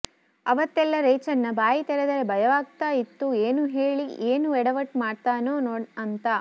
ಅವತ್ತೆಲ್ಲ ರೇಚಣ್ಣ ಬಾಯಿ ತೆರೆದರೆ ಭಯವಾಗ್ತಾ ಇತ್ತು ಏನ್ ಹೇಳಿ ಏನ್ ಎಡವಟ್ ಮಾಡ್ಸ್ತಾನೋ ಅಂತ